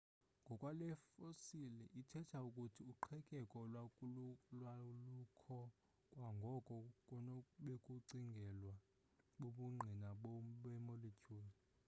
ngokwale fossile ithetha ukuthi uqhekeko lwalukho kwangoko kunobekucingelwa bubungqina bemolecule